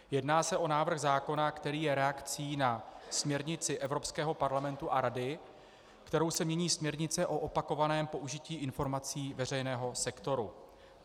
Jedná se o návrh zákona, který je reakcí na směrnici Evropského parlamentu a Rady, kterou se mění směrnice o opakovaném použití informací veřejného sektoru.